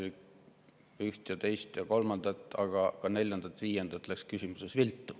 Teil üht ja teist ja kolmandat, aga ka neljandat ja viiendat läks küsimuses viltu.